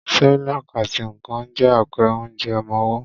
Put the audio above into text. Cerelac àti Nan je àpẹrẹ onjẹ ọmọwọ́.